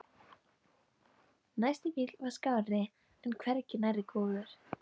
Næsti bíll var skárri en hvergi nærri góður.